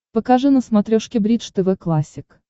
покажи на смотрешке бридж тв классик